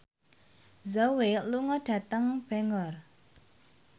Zhao Wei lunga dhateng Bangor